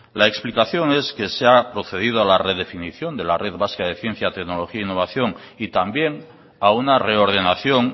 la explicación es que se ha procedido a la redefinición de la red vasca de ciencia tecnología e innovación y también a una reordenación